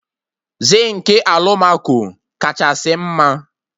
Zinkị alụmaco kachasị mma